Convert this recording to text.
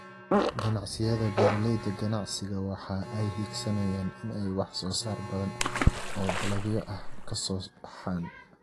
Ganacsiyada beeralayda ganacsiga waxa ay higsanayaan in ay wax soo saar badan oo dalagyo ah ay ka soo baxaan.